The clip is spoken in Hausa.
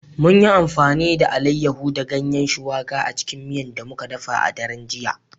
Mun yi amfani da Alayyahu da Ganyen shuwaƙa a cikin miya da muka dafa a daren jiya